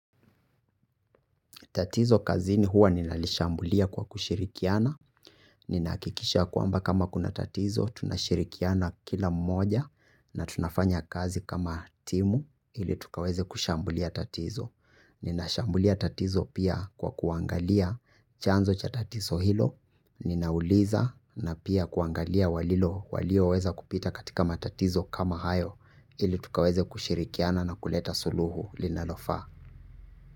Tatizo kazini huwa ninalishambulia kwa kushirikiana. Nina hakikisha kwamba kama kuna tatizo, tunashirikiana kila mmoja na tunafanya kazi kama timu ili tukaweze kushambulia tatizo. Nina shambulia tatizo pia kwa kuangalia chanzo cha tatizo hilo, ninauliza na pia kuangalia walilo walio weza kupita katika matatizo kama hayo ili tukaweze kushirikiana na kuleta suluhu linalofa.